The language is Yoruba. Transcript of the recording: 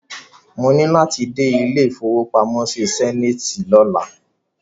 Mo ní láti dé ilé ìfowópamọ́ Zenith lọ́la.